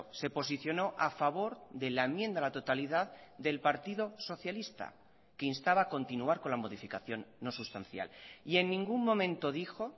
se posicionó a favor de la enmienda a la totalidad del partido socialista que instaba a continuar con la modificación no sustancial y en ningún momento dijo